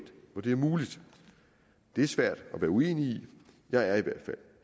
hvor det er muligt det er svært at være uenig i jeg er